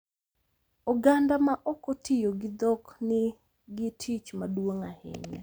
Oganda ma ok otiyo gi dhok ni nigi tich maduong’ ahinya .